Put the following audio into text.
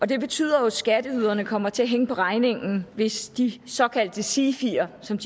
det betyder at skatteyderne kommer til at hænge på regningen hvis de såkaldte sifier som